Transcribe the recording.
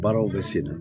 Baaraw bɛ se